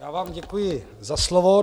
Já vám děkuji za slovo.